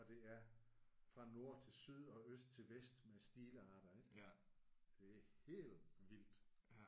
Og det er fra nord til syd og øst til vest med stilarter ik? Det er helt vildt